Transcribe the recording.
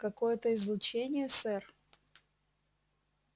какое-то излучение сэр